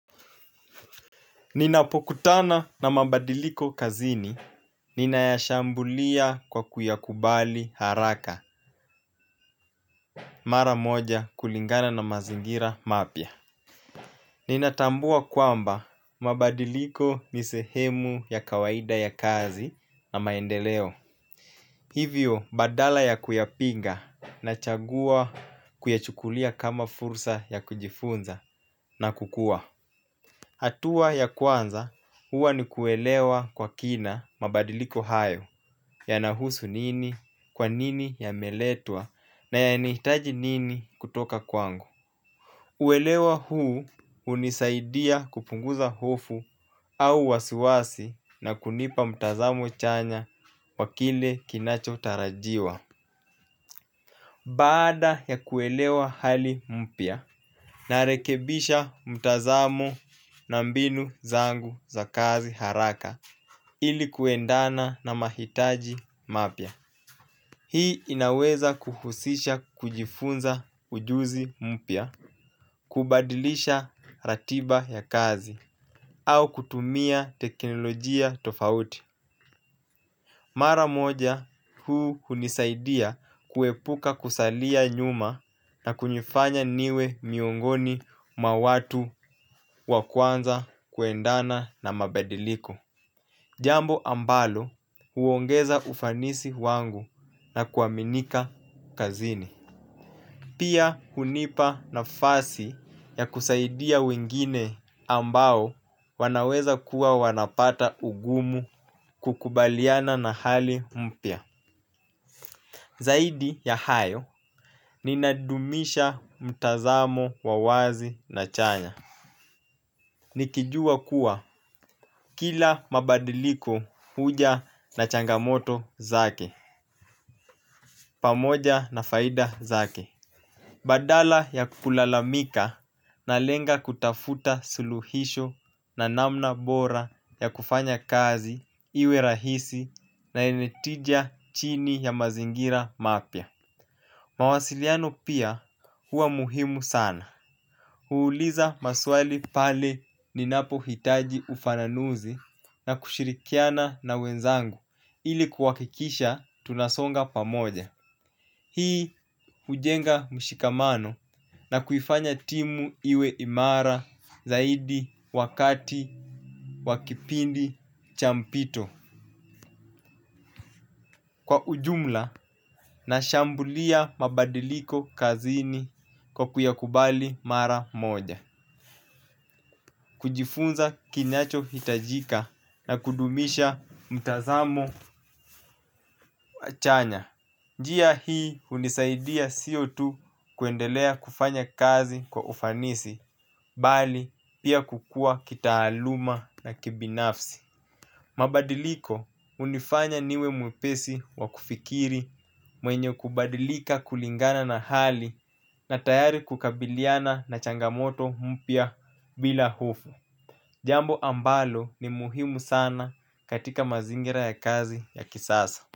Ninapokutana na mabadiliko kazini, ninayashambulia kwa kuyakubali haraka. Mara moja kulingana na mazingira mapya. Ninatambua kwamba mabadiliko ni sehemu ya kawaida ya kazi na maendeleo. Hivyo badala ya kuyapinga nachagua kuyachukulia kama fursa ya kujifunza na kukuwa. Hatua ya kwanza huwa ni kuelewa kwa kina mabadiliko hayo yanahusu nini, kwa nini yameletwa na yanahitaji nini kutoka kwangu. Uelewa huu hunisaidia kupunguza hofu au wasiwasi na kunipa mtazamo chanya wa kile kinachotarajiwa. Baada ya kuelewa hali mpya, narekebisha mtazamo na mbinu zangu za kazi haraka ili kuendana na mahitaji mapya. Hii inaweza kuhusisha kujifunza ujuzi mpia, kubadilisha ratiba ya kazi, au kutumia teknolojia tofauti. Mara moja huu hunisaidia kuepuka kusalia nyuma na kunifanya niwe miongoni mwa watu wa kwanza kuendana na mabadiliko. Jambo ambalo huongeza ufanisi wangu na kuaminika kazini pia hunipa nafasi ya kusaidia wengine ambao wanaweza kuwa wanapata ugumu kukubaliana na hali mpya. Zaidi ya hayo ninadumisha mtazamo wa wazi na chanya. Nikijua kuwa kila mabadiliko huja na changamoto zake pamoja na faida zake badala ya kulalamika nalenga kutafuta suluhisho na namna bora ya kufanya kazi iwe rahisi na yenye tija chini ya mazingira mapya. Mawasiliano pia huwa muhimu sana. Huuliza maswali pale ninapohitaji ufananuzi na kushirikiana na wenzangu ili kuhakikisha tunasonga pamoja hii hujenga mshikamano na kuifanya timu iwe imara zaidi wakati wa kipindi cha mpito. Kwa ujumla, nashambulia mabadiliko kazini kwa kuyakubali mara moja. Kujifunza kinachohitajika na kudumisha mtazamo chanya. Njia hii hunisaidia sio tu kuendelea kufanya kazi kwa ufanisi, bali pia kukua kitaaluma na kibinafsi. Mabadiliko hunifanya niwe mwepesi wa kufikiri mwenye kubadilika kulingana na hali na tayari kukabiliana na changamoto mpya bila hofu jambo ambalo ni muhimu sana katika mazingira ya kazi ya kisasa.